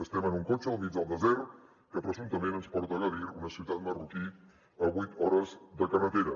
estem en un cotxe al mig del desert que presumptament ens porta a agadir una ciutat marroquina a vuit hores de carretera